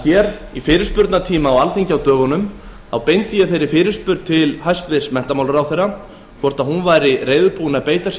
ég í fyrirspurnatíma á alþingi á dögunum beindi þeirri fyrirspurn til hæstvirts menntamálaráðherra hvort hún væri reiðubúin að beita sér